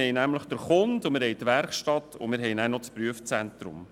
Wir haben den Kunden, die Werkstatt und das Prüfzentrum.